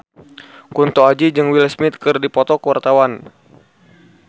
Kunto Aji jeung Will Smith keur dipoto ku wartawan